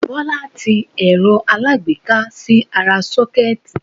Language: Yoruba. Bọ́lá ti ẹ̀rọ aláágbéká sí ara 'sókẹ́ẹ̀tì'